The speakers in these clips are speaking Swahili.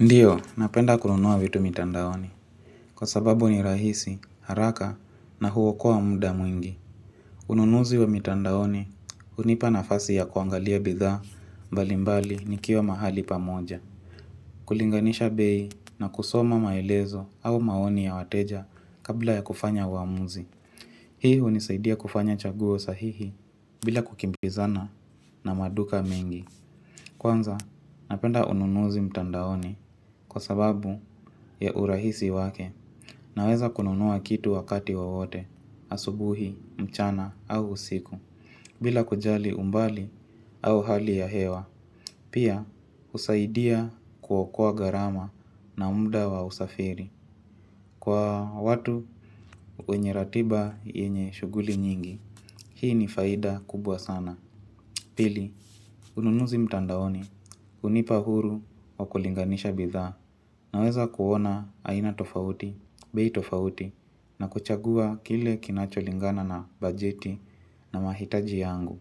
Ndiyo, napenda kununua vitu mitandaoni. Kwa sababu ni rahisi, haraka na huokoa muda mwingi. Ununuzi wa mitandaoni hunipa nafasi ya kuangalia bidhaa mbalimbali nikiwa mahali pamoja. Kulinganisha bei na kusoma maelezo au maoni ya wateja kabla ya kufanya uamuzi. Hii hunisaidia kufanya chaguo sahihi bila kukimbizana na maduka mengi. Kwanza napenda ununuzi mtandaoni kwa sababu ya urahisi wake. Naweza kununua kitu wakati wowote asubuhi mchana au usiku. Bila kujali umbali au hali ya hewa. Pia husaidia kuokoa gharama na muda wa usafiri kwa watu wenye ratiba yenye shuguli nyingi hii ni faida kubwa sana. Pili, ununuzi mtandaoni, hunipa huru wa kulinganisha bidhaa, naweza kuona aina tofauti, bei tofauti, na kuchagua kile kinacho lingana na bajeti na mahitaji yangu.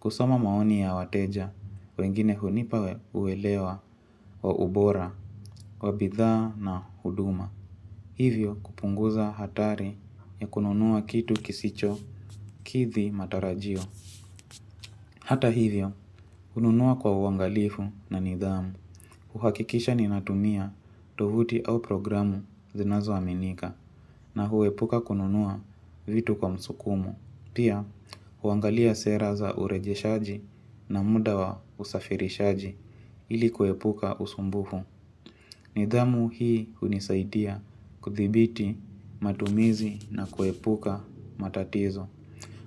Kusoma maoni ya wateja wengine hunipa uwelewa wa ubora wa bidhaa na huduma. Hivyo kupunguza hatari ya kununua kitu kisicho, kidhi matarajio. Hata hivyo hununua kwa uangalifu na nidhamu. Huhakikisha ninatumia tovuti au programu zinazoaminika na huepuka kununua vitu kwa msukumo. Pia, huangalia sera za urejeshaji na muda wa usafirishaji ili kuepuka usumbufu. Nidhamu hii hunisaidia kuthibiti matumizi na kuepuka matatizo.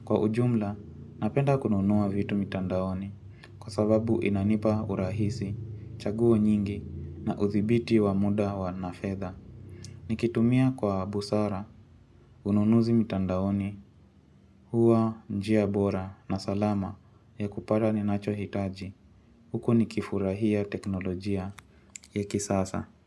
Kwa ujumla, napenda kununua vitu mitandaoni. Kwa sababu inanipa urahisi, chaguo nyingi na uthibiti wa muda wa na fedha. Nikitumia kwa busara, ununuzi mitandaoni, huwa njia bora na salama ya kupata ninacho hitaji. Huku nikifurahia teknolojia ya kisasa.